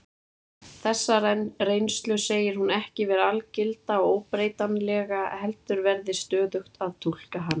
Þessa reynslu segir hún ekki vera algilda og óbreytanlega heldur verði stöðugt að túlka hana.